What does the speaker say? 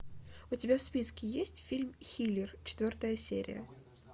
у тебя в списке есть фильм хилер четвертая серия